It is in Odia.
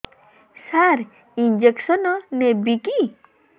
ସାର ଇଂଜେକସନ ନେବିକି